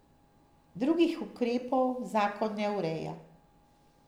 Drugih ukrepov zakon ne ureja.